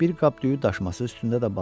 Bir qap düyü daşması üstündə də balıq.